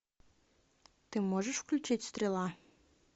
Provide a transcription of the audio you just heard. ты можешь включить стрела